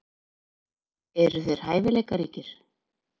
Eru þeir hæfileikaríkir?